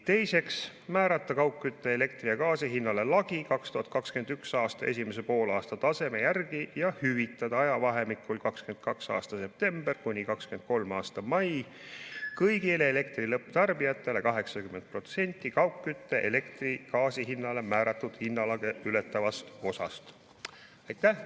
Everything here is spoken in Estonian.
Teiseks, määrata kaugkütte, elektri ja gaasi hinnale lagi 2021. aasta esimese poolaasta taseme järgi ja hüvitada ajavahemikul 2022. aasta september kuni 2023. aasta mai kõigile elektri lõpptarbijatele 80% kaugkütte, elektri ja gaasi hinnale määratud hinnalage ületavast osast.